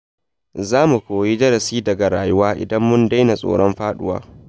Za mu koyi darasi daga rayuwa idan mun daina tsoron faɗuwa.